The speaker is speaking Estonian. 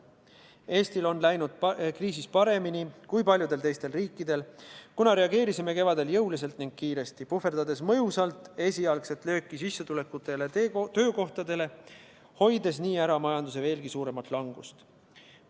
Eestil on läinud kriisis paremini kui paljudel teistel riikidel, kuna reageerisime kevadel jõuliselt ja kiiresti, puhverdades mõjusalt esialgset lööki sissetulekutele ja töökohtadele, hoides nii ära majanduse veelgi suurema languse.